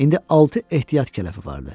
İndi altı ehtiyat kələfi vardı.